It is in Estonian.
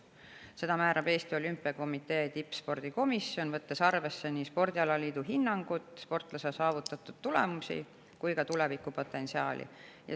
Seda määrab Eesti Olümpiakomitee tippspordikomisjon, võttes arvesse nii spordialaliidu hinnangut, sportlase saavutatud tulemusi kui ka tulevikupotentsiaali.